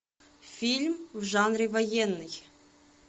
фильм в жанре военный